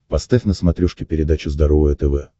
поставь на смотрешке передачу здоровое тв